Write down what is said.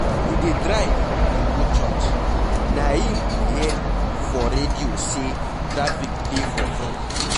We dey drive dey go church na im we hear for radio say traffic dey for front.